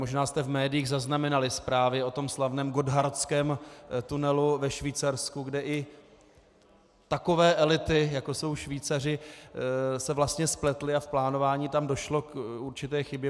Možná jste v médiích zaznamenali zprávy o tom slavném Gotthardském tunelu ve Švýcarsku, kde i takové elity, jako jsou Švýcaři, se vlastně spletly a v plánování tam došlo k určité chybě.